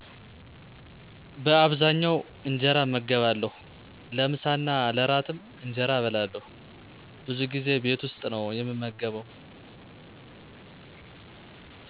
በከብዛኛው እንጀራ እመገባለሁ። ለምሳ እና ለእራትም እንጀራ እበላለሁ። ብዙ ጊዜ ቤት ውስጥ ነው የምመገብ